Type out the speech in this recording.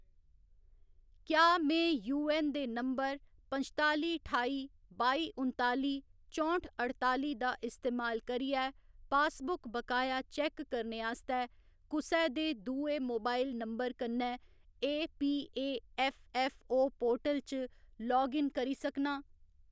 क्या में यूऐन्न दे नंबर पंचताली ठाई बाई उन्ताली चौंह्‌ठ अड़ताली दा इस्तेमाल करियै पासबुक बकाया चैक्क करने आस्तै कुसै दे दुए मोबाइल नंबर कन्नै एपीएऐफ्फऐफ्फओ ​​पोर्टल च लाग इन करी सकनां?